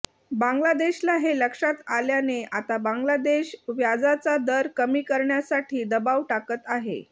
बांगलादेशला हे लक्षात आल्याने आता बांगलादेश व्याजाचा दर कमी करण्यासाठी दबाव टाकत आहे